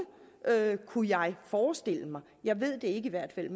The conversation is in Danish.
kunne jeg forestille mig jeg ved det i hvert fald